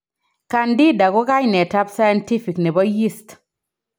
Candida ko kainet ab scientific nebo yeast